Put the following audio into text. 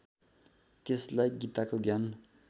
त्यसलाई गीताको ज्ञान